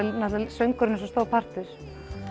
söngurinn er svo stór partur